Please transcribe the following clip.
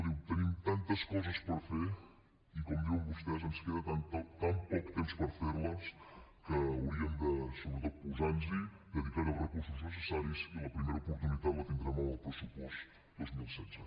diu tenim tantes coses per fer i com diuen vostès ens queda tan poc temps per fer les que hauríem de sobretot posar nos hi dedicar hi els recursos necessaris i la primera oportunitat la tindrem amb el pressupost dos mil setze